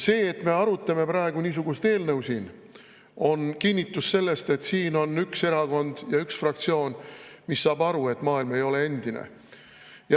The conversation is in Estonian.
See, et me arutame praegu niisugust eelnõu siin, on kinnitus selle kohta, et siin on üks erakond ja üks fraktsioon, mis saab aru, et maailm ei ole endine.